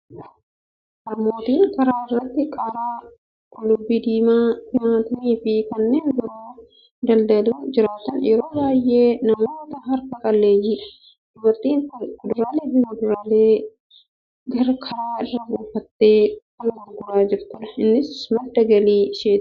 Harmootiin karaa irratti qaaraa, qullubbii diimaa, timaatimii fi kanneen biroo daldaluun jiraatan yeroo baay'ee namoota harka qalleeyyiidha. Dubartiin kun kuduraalee fi fuduraalee karaa irra buufattee kan gurguraa jirtudha. Innis madda galii isheeti.